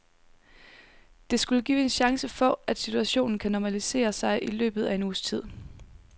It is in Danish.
Det skulle give en chance for at situationen kan normalisere sig i løbet af en uges tid.